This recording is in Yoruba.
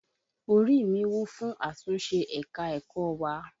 Orí mi wù fún àtúnṣé ẹ̀ka-ẹ̀kọ́ wa.